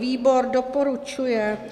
Výbor doporučuje.